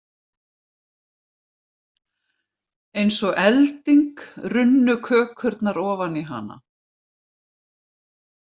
Eins og elding runnu kökurnar ofan í hana.